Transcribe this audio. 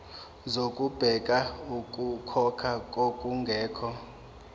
zokubheka okukhona nokungekho